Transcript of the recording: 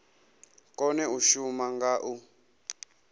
kone u shuma nga u